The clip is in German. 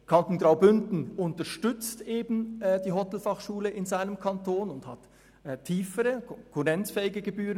Der Kanton Graubünden unterstützt die Hotelfachschule in seinem Kanton ebenfalls und hat tiefere, gegenüber Thun konkurrenzfähige Gebühren.